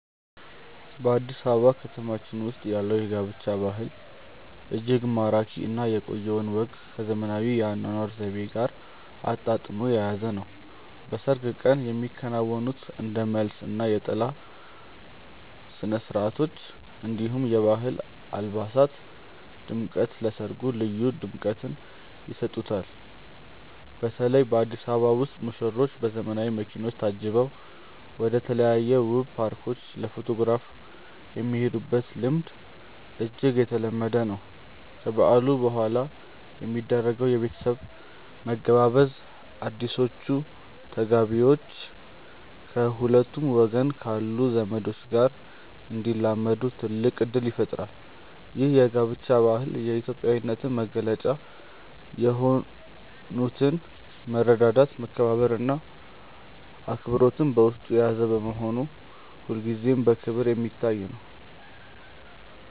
በአዲስ አበባ ከተማችን ውስጥ ያለው የጋብቻ ባህል እጅግ ማራኪ እና የቆየውን ወግ ከዘመናዊው የአኗኗር ዘይቤ ጋር አጣጥሞ የያዘ ነው። በሰርግ ቀን የሚከናወኑት እንደ መልስ እና የጥላ ስነስርዓቶች፣ እንዲሁም የባህል አልባሳት ድምቀት ለሰርጉ ልዩ ድምቀትን ይሰጡታል። በተለይ በአዲስ አበባ ውስጥ ሙሽሮች በዘመናዊ መኪኖች ታጅበው ወደተለያዩ ውብ ፓርኮች ለፎቶግራፍ የሚሄዱበት ልምድ እጅግ የተለመደ ነው። ከበዓሉ በኋላ የሚደረገው የቤተሰብ መገባበዝም አዲሶቹ ተጋቢዎች ከሁለቱም ወገን ካሉ ዘመዶች ጋር እንዲላመዱ ትልቅ እድል ይፈጥራል። ይህ የጋብቻ ባህል የኢትዮጵያዊነትን መገለጫ የሆኑትን መረዳዳት፣ መከባበር እና አብሮነትን በውስጡ የያዘ በመሆኑ ሁልጊዜም በክብር የሚታይ ነው።